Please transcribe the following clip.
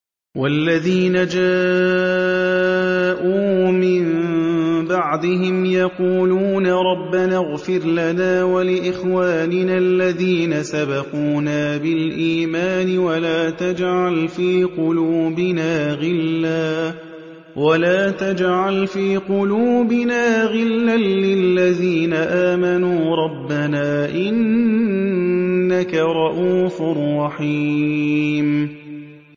وَالَّذِينَ جَاءُوا مِن بَعْدِهِمْ يَقُولُونَ رَبَّنَا اغْفِرْ لَنَا وَلِإِخْوَانِنَا الَّذِينَ سَبَقُونَا بِالْإِيمَانِ وَلَا تَجْعَلْ فِي قُلُوبِنَا غِلًّا لِّلَّذِينَ آمَنُوا رَبَّنَا إِنَّكَ رَءُوفٌ رَّحِيمٌ